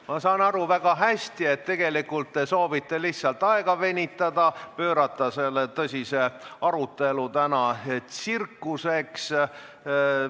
Ma saan väga hästi aru, et te soovite lihtsalt aega venitada ning muuta selle tõsise arutelu tsirkuseks.